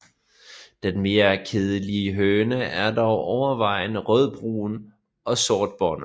Den mere kedelige høne er dog overvejende rødbrun og sortbåndet